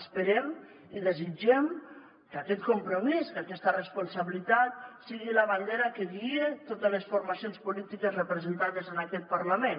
esperem i desitgem que aquest compromís que aquesta responsabilitat sigui la bandera que guie totes les formacions polítiques representades en aquest parlament